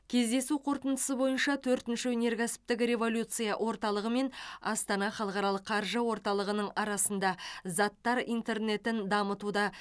кездесу қорытындысы бойынша төртінші өнеркәсіптік революция орталығы мен астана халықаралық қаржы орталығының арасында заттар интернетін дамытуда